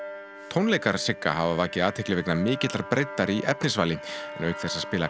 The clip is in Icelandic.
tónleikar Strokkvartettsins Sigga hafa vakið athygli vegna mikillar breiddar í efnisvali en auk þess að spila